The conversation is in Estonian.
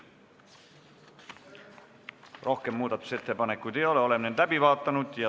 Rohkem muudatusettepanekuid ei ole.